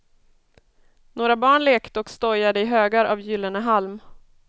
Några barn lekte och stojade i högar av gyllene halm.